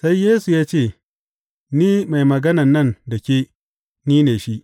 Sai Yesu ya ce, Ni mai maganan nan da ke, Ni ne shi.